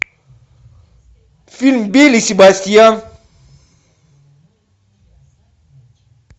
фильм белль и себастьян